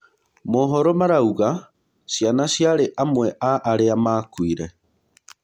Moohoro marauga ciana ciarĩ amwe a arĩa makuire.